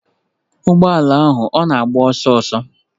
Ụgbọ ala ahụ ọ na-agba ọsọ?